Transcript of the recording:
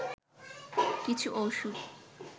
কিছু ওষুধ